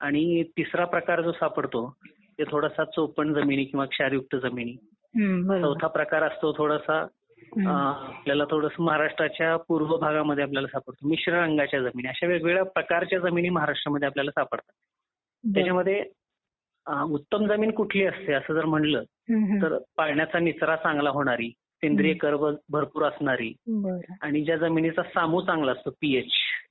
आणि तिसरा प्रकार जो सापडतो ते थोडसं चौपट जमिनी किंवा क्षारयुक्त जमिनी चौथा प्रकार असतो तो थोडासा आपल्याला थोडासा महाराष्ट्राच्या पूर्व भागामध्ये आपल्याला सापडतो मिश्र अंगाच्या जमिनी अशा वेगवेगळ्या प्रकारच्या जमिनी आपल्याला महाराष्ट्रामध्ये सापडतात . त्याच्यामध्ये उत्तम जमीन कुठली असं जर म्हटलं तर पाण्याचा निचरा चांगले होणारी, सेंद्रिय कडवळ भरपूर असणारी आणि ज्या जमिनीचा सामू चांगला असतो पीएच.